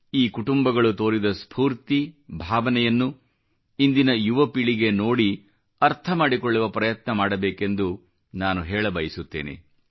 ಈ ಕುಟುಂಬಗಳು ತೋರಿದ ಸ್ಫೂರ್ತಿ ಭಾವನೆಯನ್ನು ಇಂದಿನ ಯುವ ಪೀಳಿಗೆ ನೋಡಿ ಅರ್ಥ ಮಾಡಿಕೊಳ್ಳುವ ಪ್ರಯತ್ನ ಮಾಡಬೇಕೆಂದು ನಾನು ಹೇಳಬಯಸುತ್ತೇನೆ